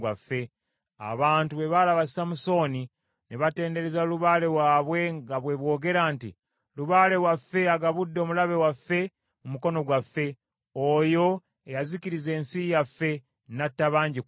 Abantu bwe baalaba Samusooni, ne batendereza lubaale waabwe nga bwe boogera nti, “Lubaale waffe agabudde omulabe waffe mu mukono gwaffe, oyo eyazikiriza ensi yaffe, n’atta bangi ku ffe.”